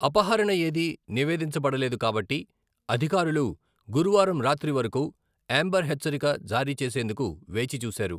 అపహరణ ఏది నివేదించబడలేదు కాబట్టి, అధికారులు గురువారం రాత్రి వరకు ఎమ్బెర్ హెచ్చరిక జారీ చేసేందుకు వేచిచూశారు.